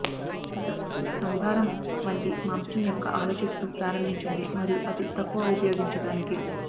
ఒక సంభారం వంటి మాంసం యొక్క ఆలోచిస్తూ ప్రారంభించండి మరియు అది తక్కువ ఉపయోగించడానికి